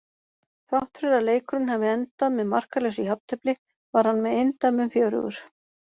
Þrátt fyrir að leikurinn hafi endað með markalausu jafntefli var hann með eindæmum fjörugur.